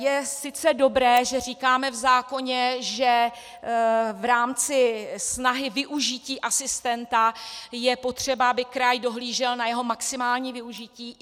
Je sice dobré, že říkáme v zákoně, že v rámci snahy využití asistenta je potřeba, aby kraj dohlížel na jeho maximální využití.